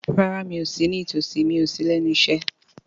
Rárá, mi ò sí ní tòsí, mi ò sí lẹ́nu iṣẹ́